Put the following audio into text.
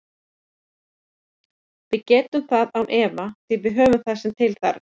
Við getum það án efa því við höfum það sem til þarf.